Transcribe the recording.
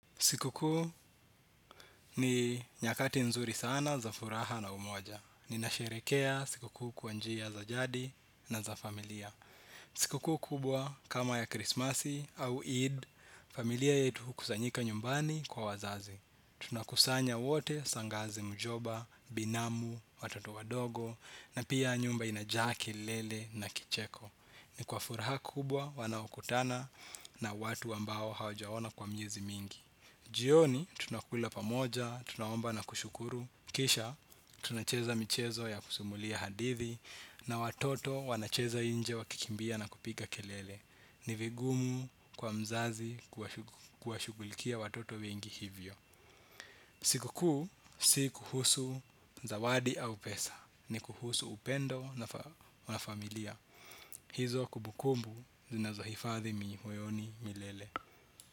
Sikukuu ni nyakati nzuri sana za furaha na umoja. Ninasherekea sikukuu kwanjia za jadi na za familia. Sikukuu kubwa kama ya krismasi au Eid, familia yetu hukusanyika nyumbani kwa wazazi. Tunakusanya wote shangazi mjomba, binamu, watoto wadogo na pia nyumba inajaa kelele na kicheko. Ni kwa furaha kubwa wanaokutana na watu ambao hawajaona kwa miezi mingi. Jioni tunakula pamoja, tunaomba na kushukuru, kisha tunacheza michezo ya kusimulia hadithi, na watoto wanacheza inje wakikimbia na kupiga kelele. Ni vigumu kwa mzazi kuwashughulikia watoto wengi hivyo. Siku kuu, si kuhusu zawadi au pesa, ni kuhusu upendo na wanafamilia. Hizo kubukumbu zinazohifadhi mioyoni milele.